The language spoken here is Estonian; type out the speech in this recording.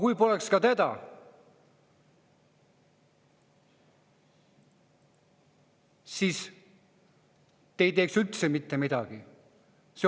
Kui teda poleks, siis te ei teeks üldse mitte midagi.